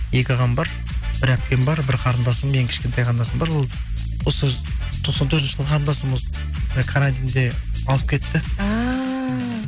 екі ағам бар бір әпкем бар бір қарындасым ең кішкентай қарындасым бар ол осы тоқсан төртінші қарындасым осы карантинде алып кетті ааа